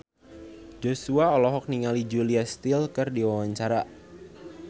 Joshua olohok ningali Julia Stiles keur diwawancara